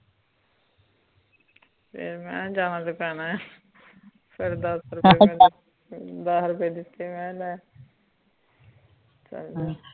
ਫੇਰ ਮੈਂ ਜਾਣਾ ਤੋਂ ਪੈਣਾ ਆ ਫੇਰ ਅੱਛਾ ਦੱਸ ਰੁਪਏ ਦਿਤੇ ਮਕਾ ਲੈ